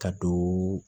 Ka don